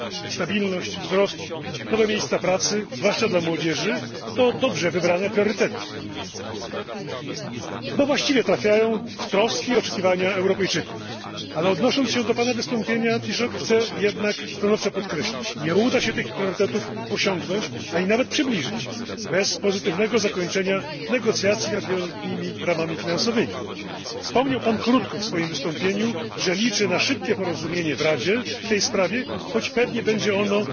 Stabilność, wzrost, nowe miejsca pracy, zwłaszcza dla młodzieży to dobrze wybrane priorytety, bo właściwie trafiają w troski i oczekiwania Europejczyków, ale, odnosząc się do Pana wystąpienia, Panie Premierze, chcę jednak stanowczo podkreślić, że nie uda się tych priorytetów osiągnąć, a i nawet przybliżyć, bez pozytywnego zakończenia negocjacji nad wieloletnimi ramami finansowymi. Wspomniał Pan krótko w swoim wystąpieniu, że liczy na szybkie porozumienie w Radzie w tej sprawie, choć pewnie będzie ono